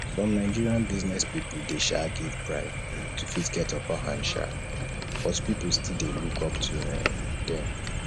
some nigerian business pipo dey um give bribe to fit get upper hand um but pipo still dey look up to um them